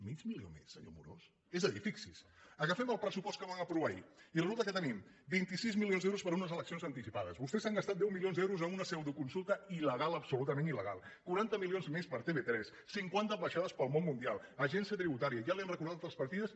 mig milió més senyor amorós és a dir fixi’s agafem el pressupost que van aprovar ahir i resulta que tenim vint sis milions d’euros per a unes eleccions anticipades vostès s’han gastat deu milions d’euros en una pseudoconsulta ilper a tv3 cinquanta ambaixades pel món mundial agència tributària ja li han recordat les partides